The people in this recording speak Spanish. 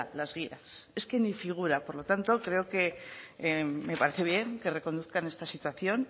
las guías es que ni figura por lo tanto creo que me parece bien que reconduzcan esta situación